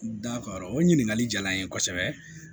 Da kɔrɔ o ɲininkali diyara n ye kosɛbɛ